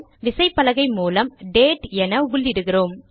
விசைப்பலகை மூலம் டேட் என உள்ளிடுகிறோம்